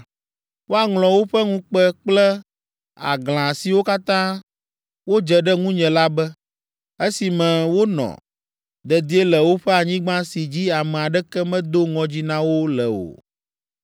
Woaŋlɔ woƒe ŋukpe kple aglã siwo katã wodze ɖe ŋunye la be, esime wonɔ dedie le woƒe anyigba si dzi ame aɖeke medo ŋɔdzi na wo le o.